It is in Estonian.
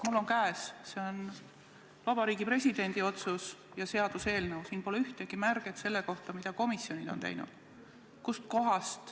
Mul on käes Vabariigi Presidendi otsus ja seaduseelnõu, siin pole ühtegi märget selle kohta, mida komisjonid on teinud.